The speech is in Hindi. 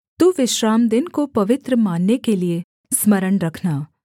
तू विश्रामदिन को पवित्र मानने के लिये स्मरण रखना